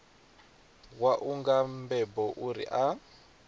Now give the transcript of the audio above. wau nga mbebo uri a